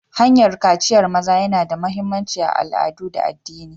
Hanyar kaciyar maza yana da mahimmanci a al'adu da addini.